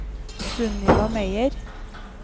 Sunniva Meyer